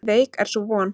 Veik er sú von.